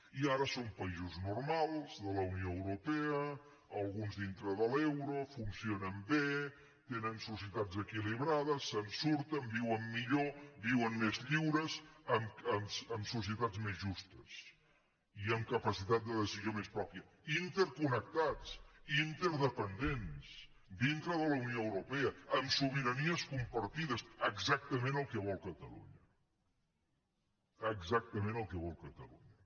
i ara són països normals de la unió europea alguns dintre de l’euro funcionen bé tenen societats equilibrades se’n surten viuen millor viuen més lliures amb societats més justes i amb capacitat de decisió més pròpia interconnectats interdependents dintre de la unió europea amb sobiranies compartides exactament el que vol catalunya exactament el que vol catalunya